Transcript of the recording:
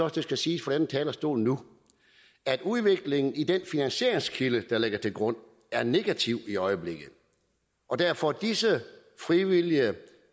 at det skal siges fra denne talerstol nu at udviklingen i den finansieringskilde der ligger til grund er negativ i øjeblikket og derfor går disse frivillige